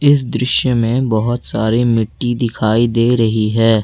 इस दृश्य में बहोत सारे मिट्टी दिखाई दे रही है।